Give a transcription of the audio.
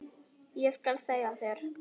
Ég skal segja þér,